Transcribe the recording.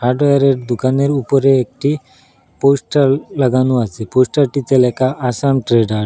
হার্ডওয়ারের দুকানের উপরে একটি পোস্টার লাগানো আসে পোস্টারটিতে লেখা আসাম ট্রেডার্স ।